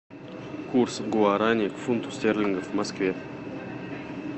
курс гуарани к фунту стерлингов в москве